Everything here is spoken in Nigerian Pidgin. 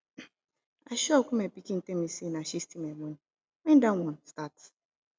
i shock wen my pikin tell me say na she steal my money wen dat one start